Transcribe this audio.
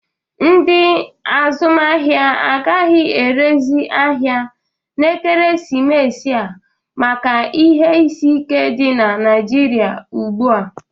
Ndị azụmahịa agaghị erezi ahịa n'ekeresimesi a maka ihe isi ike dị na Naịjịrịa ugbu a.